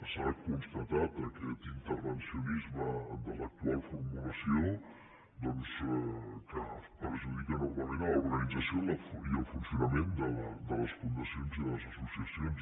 s’ha constatat aquest intervencionisme de l’actual formulació doncs que perjudica enormement l’organització i el funcionament de les fundacions i de les associacions